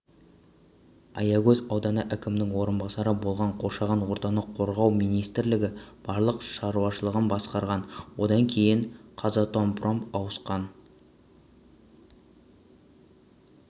аягөз ауданы әкімінің орынбасары болған қоршаған ортаны қорғау министрлігі балық шаруашылығын басқарған одан кейін қазатомпром ауысқан